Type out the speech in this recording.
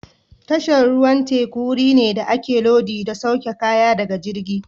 Tashar ruwan teku wuri ne da ake lodi da sauke kaya daga jirgi.